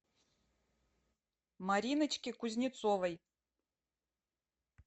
мариночке кузнецовой